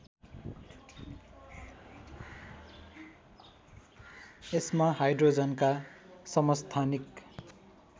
यसमा हाइड्रोजनका समस्थानिक